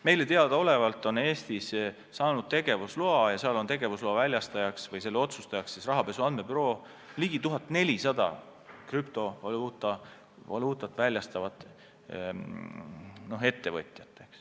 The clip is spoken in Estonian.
Meile teadaolevalt on Eestis saanud tegevusloa – selle väljastaja või selle üle otsustaja on rahapesu andmebüroo – ligi 1400 krüptovaluutat väljastavat ettevõtjat.